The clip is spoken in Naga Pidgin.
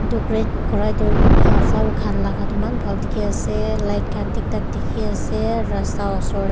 etu great kora tu aa flower khan laga tu eman bhal dikhi ase light khan thik thak dikhi ase rasta oshor.